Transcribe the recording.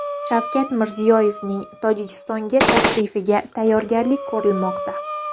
Shavkat Mirziyoyevning Tojikistonga tashrifiga tayyorgarlik ko‘rilmoqda.